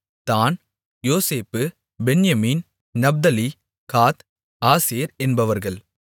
தாண் Joseph Benjamin Naphtali Gad Asher என்பவர்கள்